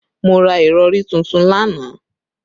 Mo ra ìrọ̀rí tuntun lánàá